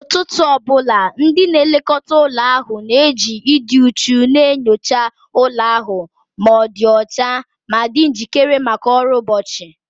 N'ụtụtụ ọ bụla, ndị na-elekọta ụlọ ahụ na-eji ịdị uchu na-enyocha ụlọ ahụ ma ọ dị ọcha ma dị njikere maka ọrụ ụbọchị